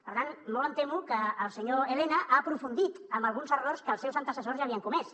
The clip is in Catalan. per tant molt em temo que el senyor elena ha aprofundit en alguns errors que els seus antecessors ja havien comès